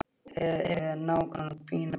Hefur að nágrönnum bændabýli og akra.